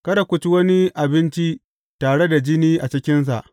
Kada ku ci wani abinci tare da jini a cikinsa.